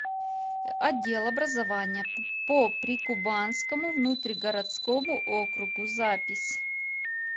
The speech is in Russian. отдел образования по прикубанскому внутригородскому округу запись